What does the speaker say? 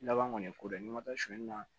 Laban kɔni ko dɔ ye n'i ma taa suyɛni na